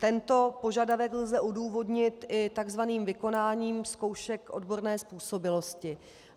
Tento požadavek lze odůvodnit i tzv. vykonáním zkoušek odborné způsobilosti.